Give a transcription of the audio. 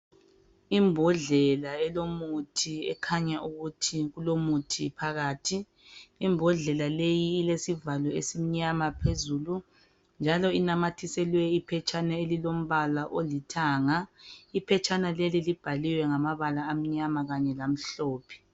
Imbodlela elomuthi ekhanya ukuthi kulomuthi phakathi. Imbodlela leyi ilesivalo esimnyama phezulu njalo inamathiselwe iphetshana elilo mbala olithanga phetshana leli libhalwiwe ngamabala amnyama kanye lamhlophe.